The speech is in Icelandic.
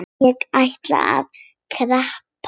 Ég ætla að skreppa heim.